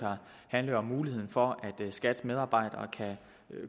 handler om muligheden for at skat’s medarbejdere kan